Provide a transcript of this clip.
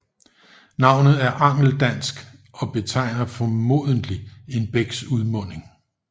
Navnet er angeldansk og betegner formodentlig en bæks udmunding